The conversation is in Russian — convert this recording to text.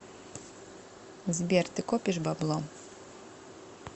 сбер ты копишь бабло